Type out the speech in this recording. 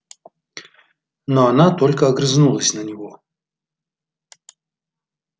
но она только огрызнулась на него